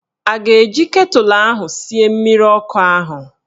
A ga-eji ketụlụ ahụ sie mmiri ọkụ ahụ?